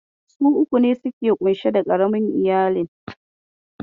Su uku ne suka ke ƙunshe da ƙaramin iyalin.